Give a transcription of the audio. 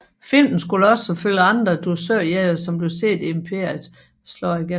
Filmen skulle også følge andre dusørjægere som blev set i Imperiet slår igen